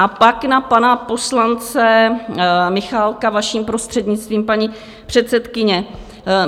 A pak na pana poslance Michálka, vaším prostřednictvím, paní předsedkyně.